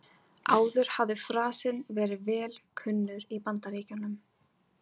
Áður hafði frasinn verið vel kunnur í Bandaríkjunum.